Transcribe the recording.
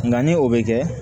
Nka ni o bɛ kɛ